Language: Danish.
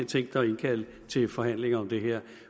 tænkt sig at indkalde til forhandlinger om det her